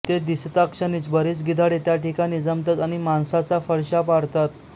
ते दिसताक्षणीच बरीच गिधाडे त्या ठिकाणी जमतात आणि मांसाचा फडशा पाडतात